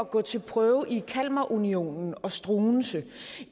gå til prøve i kalmarunionen og struensee